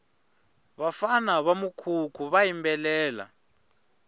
vafana va mukhukhu va yimbelela